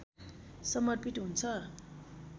समर्पित हुन्छ